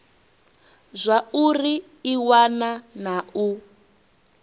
zwauri i wana na u